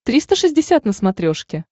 триста шестьдесят на смотрешке